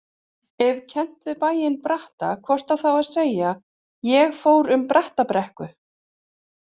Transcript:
Ef kennt við bæinn Bratta hvort á þá að segja: ég fór um Brattabrekku.